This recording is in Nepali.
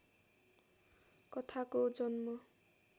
कथाको जन्म